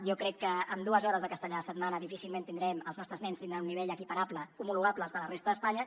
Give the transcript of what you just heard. jo crec que amb dues hores de castellà a la setmana difícilment tindrem els nostres nens tindran un nivell equiparable homologable al de la resta d’espanya